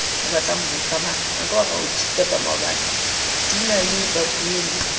di na le babuelli ba